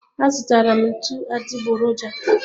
A zụtara m ntụ adịgboroja